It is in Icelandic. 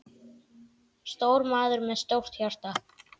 Stór maður með stórt hjarta.